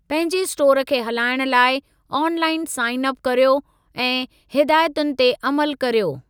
पंहिंजे स्टोर खे हलाइणु लाइ ऑन लाइन साइन अप कर्यो ऐं हिदायतुनि ते अमलु कर्यो।